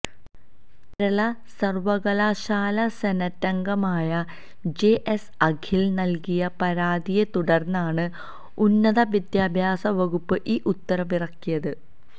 കേരള സര്വകലാശാലാ സെനറ്റംഗമായ ജെഎസ് അഖിലന് നല്കിയ പരാതിയെ തുടര്ന്നാണ് ഉന്നത വിദ്യാഭ്യാസവകുപ്പ് ഈ ഉത്തരവിറക്കിയത്